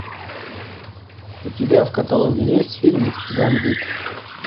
у тебя в каталоге есть фильмик гамбит